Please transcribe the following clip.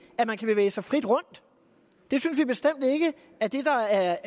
at man kan bevæge sig frit rundt det synes vi bestemt ikke er det der er